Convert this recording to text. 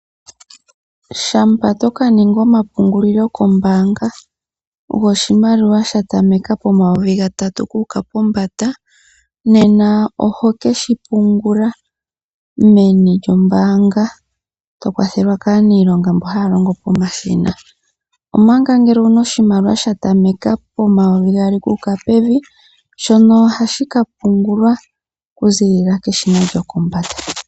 Shampa toka ninga omapungulilo kombanga goshimaliwa sha tameka N$3000 oku uka pombanda, nena oho keshi pungula meni lyombanga, to kwathelwa ka niilonga mboka haya longo pomashina. Omanga ngele owuna oshimaliwasha tameka po N$200 okuuka pevi, shoka ohashi ka pungulwa oku zilila peshina lyokombanda.